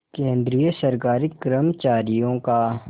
केंद्रीय सरकारी कर्मचारियों का